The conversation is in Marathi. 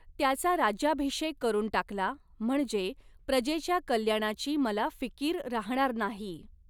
त्याचा राज्याभिषेक करून टाकला म्हणजे प्रजेच्या कल्याणाची मला फिकीर राहणार नाही.